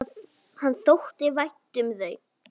Honum þótti vænt um þau.